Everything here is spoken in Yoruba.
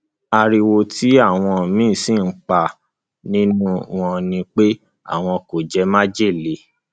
ariwo tí àwọn míín sì ń pa nínú wọn ni pé àwọn kò jẹ májèlé